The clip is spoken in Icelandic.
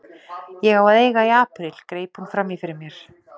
Ég á að eiga í apríl, greip hún fram í fyrir mér.